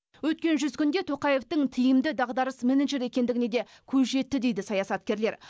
өткен жүз күнде тоқаевтың тиімді дағдарыс менеджері екендігіне де көз жетті дейді саясаткерлер